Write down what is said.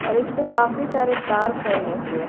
और इस पे काफी सारे तार फैले हुए--